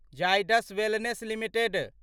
Zydus wellness limited